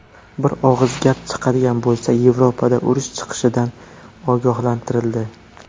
Bir og‘iz gap chiqadigan bo‘lsa, Yevropada urush chiqishidan ogohlantirildi.